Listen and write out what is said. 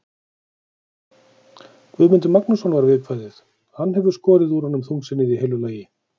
Guðmundur Magnússon, var viðkvæðið, hann hefur skorið úr honum þungsinnið í heilu lagi.